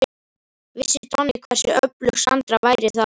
Vissi Donni hversu öflug Sandra væri þá?